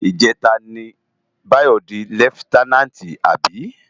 Ijètá ni Bayo di lèftènánti abi?